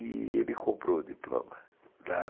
E ele comprou o diploma.